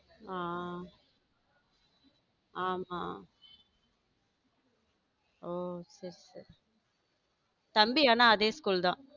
ஆமா ஆமா ஓஹ சரி சரி தம்பியான அதே school தான்.